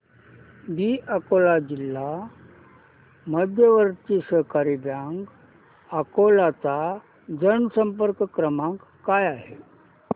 दि अकोला जिल्हा मध्यवर्ती सहकारी बँक अकोला चा जनसंपर्क क्रमांक काय आहे